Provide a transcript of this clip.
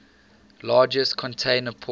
largest container port